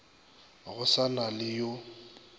go sa na le yo